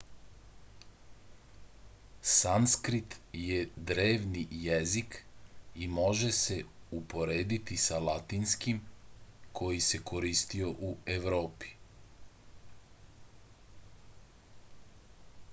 sanskrit je drevni jezik i može da se uporedi sa latinskim koji se koristio u evropi